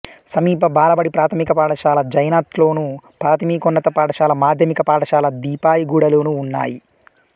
సమీప బాలబడి ప్రాథమిక పాఠశాల జైనథ్లోను ప్రాథమికోన్నత పాఠశాల మాధ్యమిక పాఠశాల దీపాయిగూడాలోనూ ఉన్నాయి